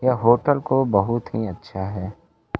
यह होटल को बहुत ही अच्छा है।